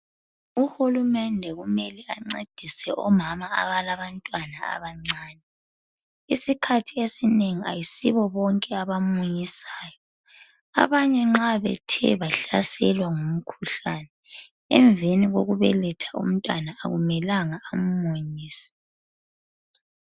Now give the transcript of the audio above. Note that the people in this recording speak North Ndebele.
Uhulumende kumele ancedise omama abalantwana abancane. Isikhathi esinengi ayisibo bonke abamunyisayo. Abanye nxa bethe bahlaselwa emveni kokubeletha umntwana akumelanga ammunyise.